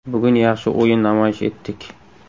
Bugun yaxshi o‘yin namoyish etdik.